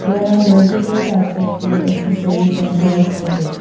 There are multiple types of food accessories and toy for pet.